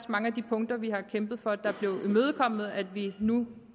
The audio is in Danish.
mange af de punkter vi har kæmpet for der blev imødekommet at vi nu